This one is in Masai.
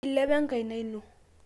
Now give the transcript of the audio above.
ilepi enkaina ino